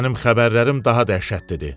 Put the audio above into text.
Mənim xəbərlərim daha dəhşətlidir.